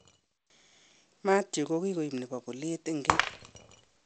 Mathew kokikoib nebo bolet eng keny